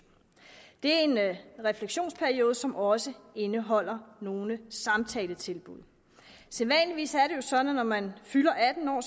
det er en refleksionsperiode som også indeholder nogle samtaletilbud sædvanligvis er det jo sådan at når man fylder atten år